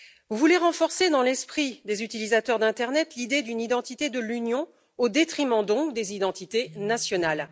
Vous voulez renforcer dans l'esprit des utilisateurs d'internet, l'idée d'une identité de l'Union au détriment, donc, des identités nationales.